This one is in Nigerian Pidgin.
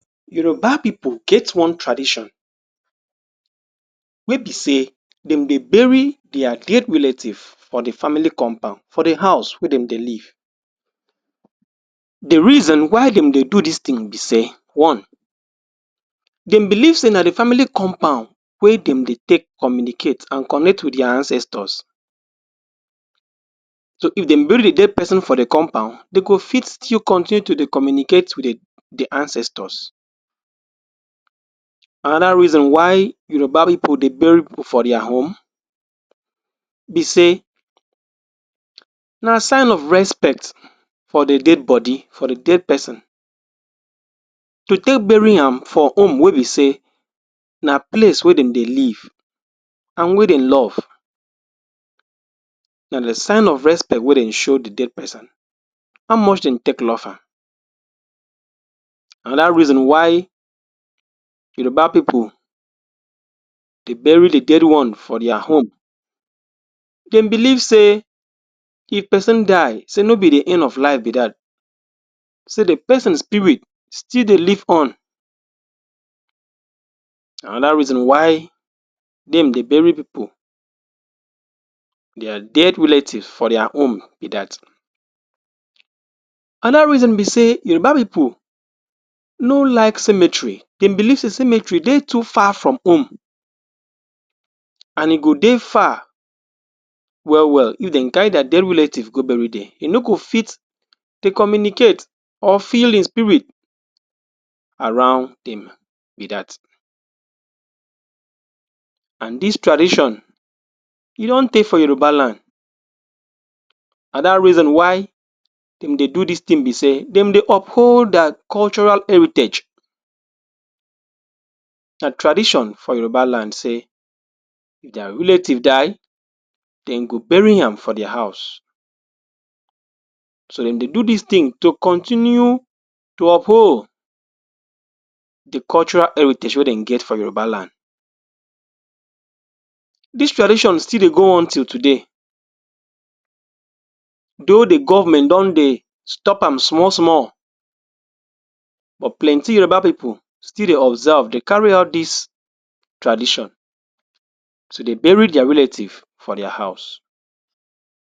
Yoruba pipu get one tradition wey be sey dem de bury their dead relative for the family compound, for the house wey dem dey live. The reason why dem dey do this thing be sey, one, dem believe sey na the family compound wey dem dey take communicate and connect with their ancestors. So, if dem bury the dead person for the compound, dem go fit still continue to dey communicate with the the ancestors. Another reason why Yoruba pipu dey bury pipu for their home be sey, na sign of respect for the dead body for the dead person. To take bury am for home wey be sey na place wey dem dey live and wey dem love, na the sign of respect wey dem show the dead person how much dem take love am. Another reason why Yoruba pipu dey bury the dead one for their home, dem believe sey if person die, sey no be the end of life be that, sey the person spirit still dey live on. Another reason why dem dey bury pipu their dead relative for their home be that, another reason be sey Yoruba pipu no like cemetry. Dem believe sey cemetery dey too far from home and e go dey far well well if dem carry their dead relative go bury there. You no go fit dey communicate or feel im spirit around dem be that, and this tradition e don tey for Yoruba land. Another reason why dem dey do this thing be sey dem dey uphold their cultural heritage. Na tradition for yoruba land sey if their relative die, dem go bury am for the house. So, dem dey do this thing to continue to uphold the cultural heritage wey dem get for Yoruba land. This tradition still dey go on till today, though the government don dey stop am small small, but plenty Yoruba pipu still dey observe, dey carry out this tradition to dey bury their relative for their house.